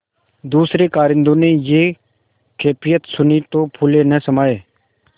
दूसरें कारिंदों ने यह कैफियत सुनी तो फूले न समाये